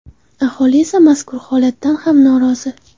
Aholi esa mazkur holatdan ham norozi.